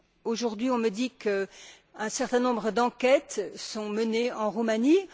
Aujourd'hui, on me dit qu'un certain nombre d'enquêtes sont menées en Roumanie.